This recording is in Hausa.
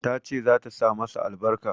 Ta ce za ta sa masa albarka.